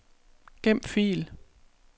Gem fil.